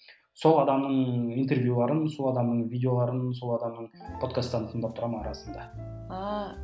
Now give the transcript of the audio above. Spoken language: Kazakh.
сол адамның интервьюлерін сол адамның видеоларын сол адамның подкастарын тыңдап тұрамын арасында ааа